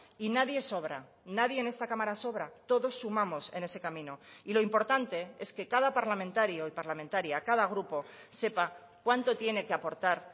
y nadie sobra nadie en esta cámara sobra todos sumamos en ese camino y lo importante es que cada parlamentario y parlamentaria cada grupo sepa cuánto tiene que aportar